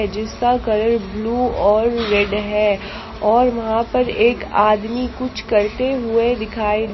जिसका colour blue और red है और वहां पर एक आदमी कुछ करते हुए दिखाई--